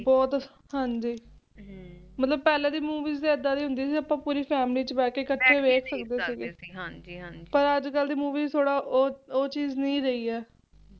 ਹਾਂਜੀ ਮਤਲਬ ਪਹਿਲਾ ਦੀ Movies ਏਦਾ ਦੀ ਹੁੰਦੀ ਸੀ ਜੌ ਪੂਰੀ family ਵਿੱਚ ਬੈਠ ਕੇ ਕਠੇ ਬੈਠ ਕੇ ਦੇਖ ਸਕਦੇ ਸੀ ਪਰ ਅੱਜ ਕੱਲ ਦੀ Movie ਥੋੜਾ ਓਹ ਚੀਜ ਨਹੀਂ ਰਹੀ ਏ